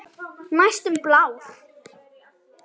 Næstum blár.